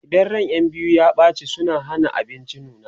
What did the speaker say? idan ran ƴan biyu ya ɓace suna Hana abinci nuna